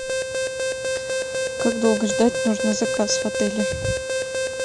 как долго ждать нужно заказ в отеле